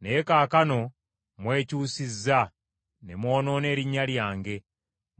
Naye kaakano mwekyusizza ne mwonoona erinnya lyange;